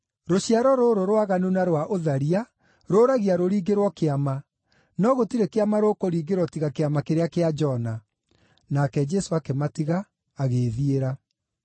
Rũciaro rũrũ rwaganu na rwa ũtharia rũũragia rũringĩrwo kĩama, no gũtirĩ kĩama rũkũringĩrwo tiga kĩama kĩrĩa kĩa Jona.” Nake Jesũ akĩmatiga, agĩĩthiĩra.